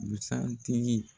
Busan tigii